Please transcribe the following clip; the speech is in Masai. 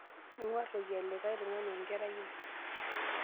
Ming'uar toki elikae tung'ani enkerai ai.